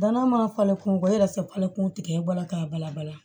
Danaya ma falen kurun bɔ e yɛrɛ fɛ falen kumu tigɛ e bɔra k'a bala bala